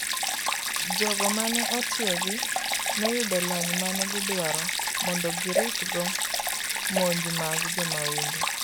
jogo mane otiEgi noyudo lony mane giduaro mondo giritgo monj mag jomaundu